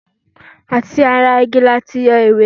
atí ará igí latí yọ ìwé